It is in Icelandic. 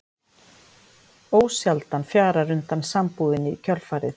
Ósjaldan fjarar undan sambúðinni í kjölfarið.